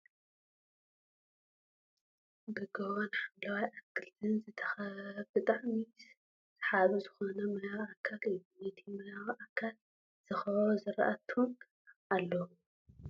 ብ ጎቦን ሓምለዋይ ኣትክልቲ ዝተከበበ ብጣዕሚ ሰሓቢ ዝኮነ ማያዊ ኣካል እዩ ። ነቲ ማያዊ ኣካል ዝከበቡ ዝራእቲ እውን ኣለዉ ።